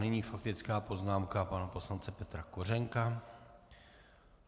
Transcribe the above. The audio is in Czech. Nyní faktická poznámka pana poslance Petra Kořenka.